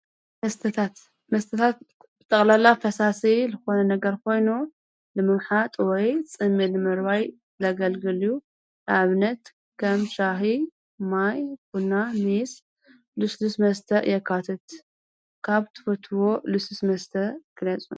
ትመስተታት ብጠቕላላ ፈሳሰ ልኾነ ነገር ኾይኑ ልምምሓጥ ወይ ጽሜል መርዋይ ለገልግልዩ ኣብነት ኸም ሻሕ ማይ ኹና ሚስ ልስልስ መስተ የኳትት ካብ ትወትዎ ልሱስ መስተ ክነጹ።